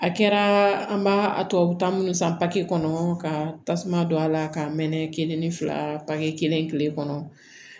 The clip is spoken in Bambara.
A kɛra an b'a a tɔ bɛ taa minnu san kɔnɔ ka tasuma don a la ka mɛn kelen ni fila papiye kelen tile kɔnɔ